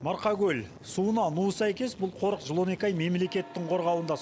марқакөл суына нуы сәйкес бұл қорық жыл он екі ай мемлекеттің қорғауында